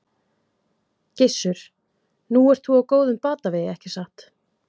Gissur: Nú ert þú á góðum batavegi ekki satt?